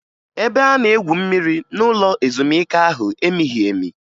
Ebe a na-egwu mmiri n'ụlọ ezumike ahụ emighi emi